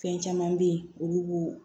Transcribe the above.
Fɛn caman be yen olu b'o